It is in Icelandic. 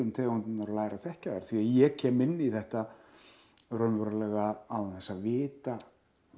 tegundirnar og læra að þekkja þær því ég kem inn í þetta raunverulega án þess að vita